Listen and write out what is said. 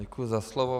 Děkuji za slovo.